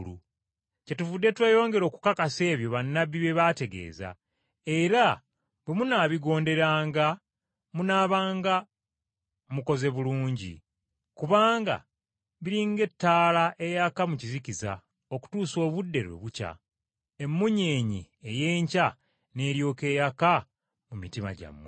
Kyetuvudde tweyongera okukakasa ebyo bannabbi bye baategeeza, era bwe munaabigonderanga munaabanga mukoze bulungi. Kubanga biri ng’ettaala eyaka mu kizikiza okutuusa obudde lwe bukya, emunyeenye ey’enkya n’eryoka eyaka mu mitima gyammwe.